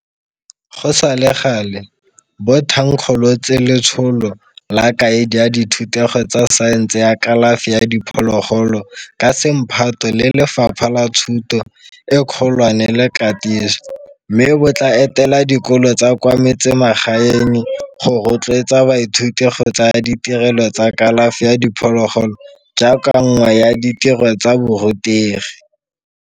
Go sa le gale, bo thankgolotse Letsholo la Kaedi ya Dithutego tsa Saense ya Kalafi ya Diphologolo ka semphato le Lefapha la Thuto e Kgolwane le Katiso, mme bo tla etela dikolo tsa kwa metsemagaeng go rotloetsa baithuti go tsaya ditirelo tsa kalafi ya diphologolo jaaka nngwe ya ditiro tsa borutegi.